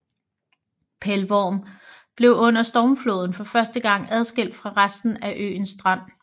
Pelvorm blev under stormfloden for første gang adskilt fra resten af øen Strand